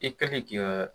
I ka k'i ka